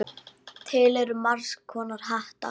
Til eru margs konar hattar.